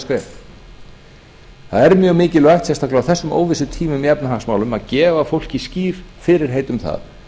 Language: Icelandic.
tímamótaskref það er mjög mikilvægt sérstaklega á þessum óvissutímum í efnahagsmálum að gefa fólki skýr fyrirheit um það